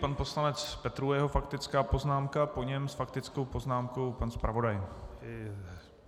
Pan poslanec Petrů a jeho faktická poznámka, po něm s faktickou poznámkou pan zpravodaj.